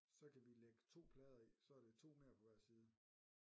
Så kan vi lægge 2 plader i så er det 2 mere på hver side